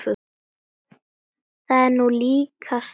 Það er nú líkast til.